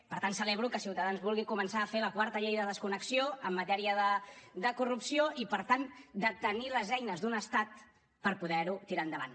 per tant celebro que ciutadans vulgui començar a fer la quarta llei de desconnexió en matèria de corrupció i per tant de tenir les eines d’un estat per poder ho tirar endavant